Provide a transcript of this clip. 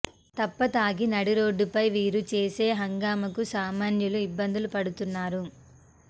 తప్పతాగి నడిరోడ్డుపై వీరు చేసే హంగామాకు సామాన్యులు ఇబ్బందులు పడు తున్నారు